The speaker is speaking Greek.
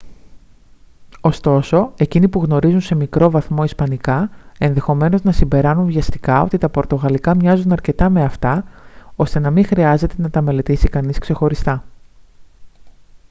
ωστόσο εκείνοι που γνωρίζουν σε μικρό βαθμό ισπανικά ενδεχομένως να συμπεράνουν βιαστικά ότι τα πορτογαλικά μοιάζουν αρκετά με αυτά ώστε να μην χρειάζεται να τα μελετήσει κανείς ξεχωριστά